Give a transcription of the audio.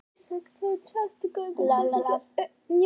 Að sjálfsögðu ekki.